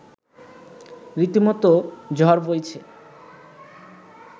রীতিমতো ঝড় বইছে